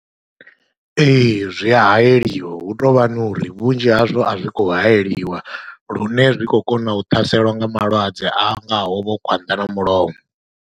Ee, zwi ya hayeliwa hutovhani uri vhunzhi hazwo a zwi khou hayeliwa lune zwi khou kona u ṱhaselwa nga malwadze a ngaho vho khwanḓa na mulomo.